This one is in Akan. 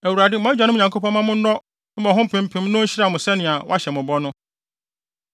Awurade mo agyanom Nyankopɔn mma mo nnɔ mmɔho mpempem na onhyira mo sɛnea wahyɛ mo bɔ no!